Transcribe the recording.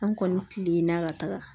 An kɔni kilenna ka taga